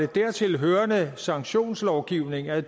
dertil hørende sanktionslovgivning er